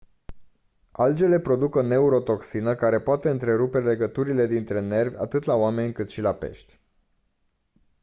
algele produc o neurotoxină care poate întrerupe legăturile dintre nervi atât la oameni cât și la pești